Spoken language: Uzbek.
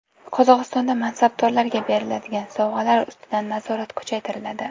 Qozog‘istonda mansabdorlarga beriladigan sovg‘alar ustidan nazorat kuchaytiriladi.